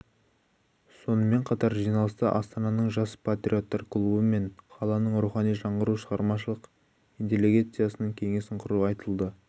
сонымен қатар жиналыста астананың жас патриоттар клубы мен қаланың рухани жаңғыру шығармашылық интеллигенциясының кеңесін құру айтылды